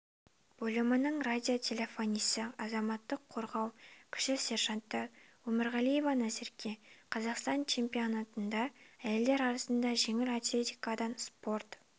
бөлімінің радиотелефонисі азаматтық қорғау кіші сержанты өмірғалиева назерке қазақстан чемпионатында әйелдер арасында жеңіл атлетикадан спорт